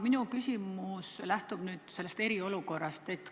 Minu küsimus lähtub eriolukorrast.